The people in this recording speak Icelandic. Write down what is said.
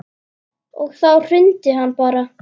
Og þá hrundi hann bara.